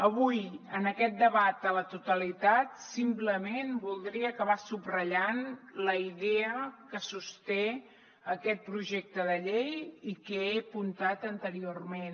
avui en aquest debat a la totalitat simplement voldria acabar subratllant la idea que sosté aquest projecte de llei i que he apuntat anteriorment